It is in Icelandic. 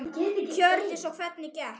Hjördís: Og hvernig gekk?